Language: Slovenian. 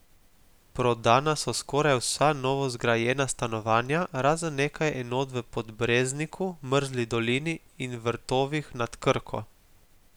Prodana so skoraj vsa novozgrajena stanovanja, razen nekaj enot v Podbrezniku, Mrzli dolini in Vrtovih nad Krko.